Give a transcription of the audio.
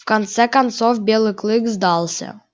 в конце концов белый клык сдался